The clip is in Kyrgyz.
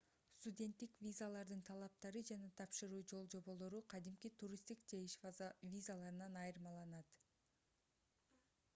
студенттик визалардын талаптары жана тапшыруу жол-жоболор кадимки туристтик же иш визаларынан айырмаланат